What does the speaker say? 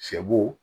Sɛ bo